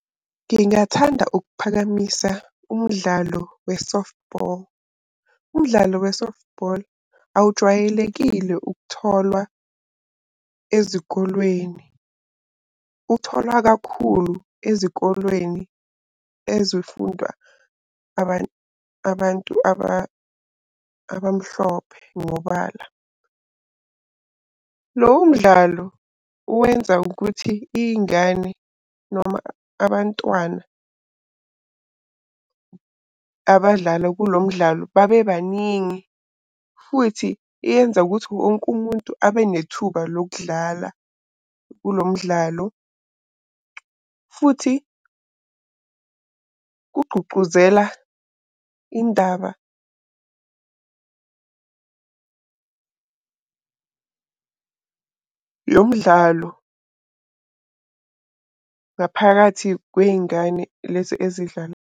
Ngingathanda ukuphakamisa umdlalo we-softball. Umdlalo we-softball awujwayelekile ukutholwa ezikolweni, utholwa kakhulu ezikolweni ezifunda abantu abamhlophe. Ngoba lowo mdlalo uwenza ukuthi iy'ngane noma abantwana abadlala kulo mdlalo babe baningi. Futhi yenza ukuthi wonke umuntu abe nethuba lokudlala kulo mdlalo futhi ugqugquzela indaba yomdlalo ngaphakathi kwey'ngane lezi .